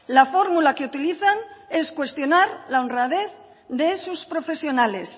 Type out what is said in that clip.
la fórmula que utilizan es cuestionar la honradez de sus profesionales